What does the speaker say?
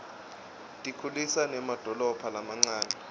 tikhulisa nemadolobha lamancane